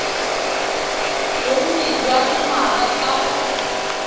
bonnye jwa dingwaga tsa go